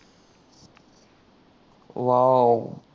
wow